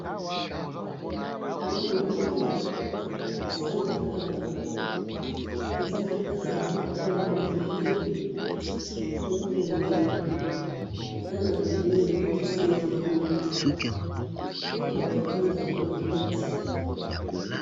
namoni motuka balakisi ngayi awa, eza na katikati ya balabala ya mabele ezo kende eza na pneux na sima yango batou bafandaka na kati.